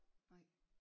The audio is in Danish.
Nej